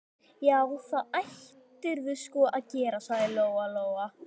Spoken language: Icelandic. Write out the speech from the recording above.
Já, það ættirðu sko að gera, sagði Lóa Lóa.